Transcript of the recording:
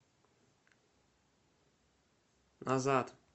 назад